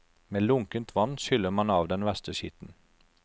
Med lunkent vann skyller man av den verste skitten.